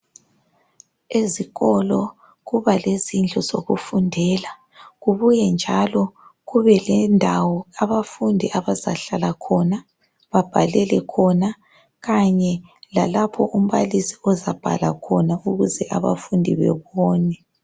Ezikolo kuba lezindlu zokufundela, kubuye njalo kube lendawo abafundi abazahlala khona babhalele khona kanye lalapho umbalisi ozabhala khona ukuze abafundi bebone.